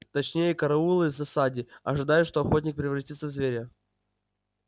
точнее караулы в засаде ожидая что охотник превратится в зверя